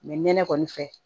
nɛnɛ kɔni fɛ